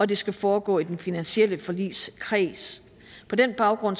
det skal foregå i den finansielle forligskreds på den baggrund